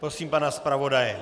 Prosím pana zpravodaje.